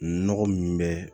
Nɔgɔ min bɛ